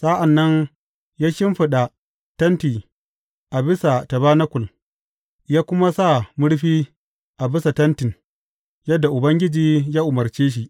Sa’an nan ya shimfiɗa tentin a bisa tabanakul, ya kuma sa murfi a bisa tentin, yadda Ubangiji ya umarce shi.